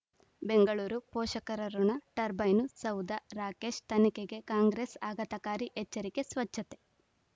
ಬೆಂಗಳೂರು ಪೋಷಕರಋಣ ಟರ್ಬೈನು ಸೌಧ ರಾಕೇಶ್ ತನಿಖೆಗೆ ಕಾಂಗ್ರೆಸ್ ಆಘಾತಕಾರಿ ಎಚ್ಚರಿಕೆ ಸ್ವಚ್ಛತೆ